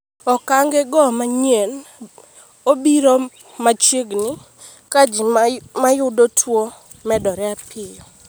Okangego manyien obiro mchiegini ka ji mayudo tuo medore piyo.